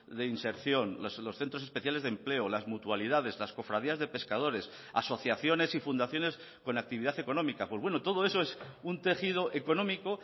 de inserción los centros especiales de empleo las mutualidades las cofradías de pescadores asociaciones y fundaciones con actividad económica pues bueno todo eso es un tejido económico